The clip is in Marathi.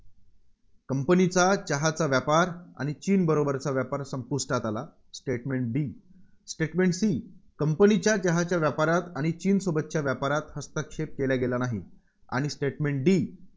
company चा चहाचा व्यापार आणि चीनबरोबरचा व्यापार संपुष्टात आला. statement Bstatement C कंपनीच्या चहाच्या व्यापारात आणि चीनसोबतच्या व्यापारात हस्तक्षेप केला गेला नाही. आणि statement D